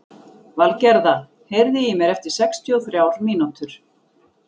Valgerða, heyrðu í mér eftir sextíu og þrjár mínútur.